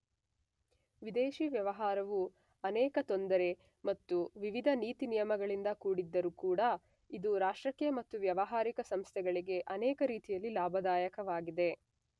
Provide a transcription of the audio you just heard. ವಿದೇಶಿ ವ್ಯವಹಾರವು ಅನೇಕ ತೊಂದರೆ ಮತ್ತು ವಿವಿದ ನೀತಿನಿಯಮಗಳಿಂದ ಕೂಡಿದ್ದರೂ ಕೂಡ ಇದು ರಾಷ್ಟ್ರಕ್ಕೆ ಮತ್ತು ವ್ಯವಹಾರಿಕ ಸಂಸ್ಥೆಗಳಿಗೆ ಅನೇಕ ರೀತಿಯಲ್ಲಿ ಲಾಭದಾಯಕವಾಗಿದೆ.